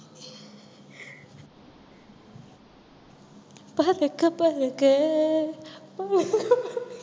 பறக்க பறக்க பழக பழக